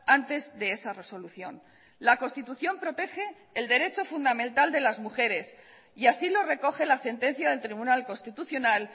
antes de esa resolución la constitución protege el derecho fundamental de las mujeres y así lo recoge la sentencia del tribunal constitucional